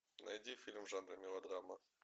найди фильм в жанре мелодрама